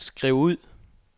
skriv ud